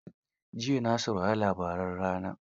Jiya na saurari labaran rana.